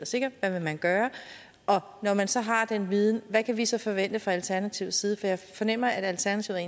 sikker hvad vil man gøre og når man så har den viden hvad kan vi så forvente fra alternativets side for jeg fornemmer at alternativet